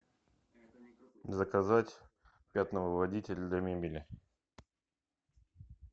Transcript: заказать пятновыводитель для мебели